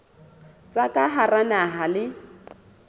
tsa ka hara naha le